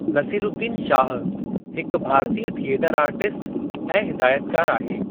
नसीरूद्दीन शाह हिकु भारतीय theatre artist ऐं हिदायतकार आहे।